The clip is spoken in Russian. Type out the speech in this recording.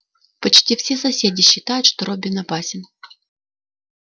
почти все соседи считают что роббин опасен